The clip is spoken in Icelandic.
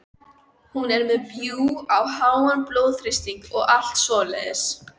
Hún er með bjúg og háan blóðþrýsting og allt svoleiðis.